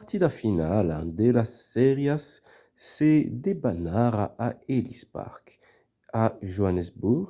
la partida finala de las sèrias se debanarà a ellis park a johannesburg